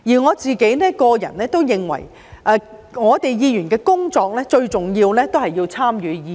我個人認為，議員最重要的工作，是參與議事。